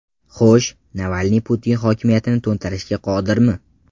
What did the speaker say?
Xo‘sh, Navalniy Putin hokimiyatini to‘ntarishga qodirmi?